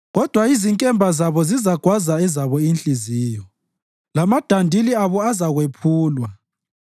Kodwa izinkemba zabo zizagwaza ezabo inhliziyo, lamadandili abo azakwephulwa.